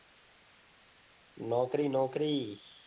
નોકરી નોકરી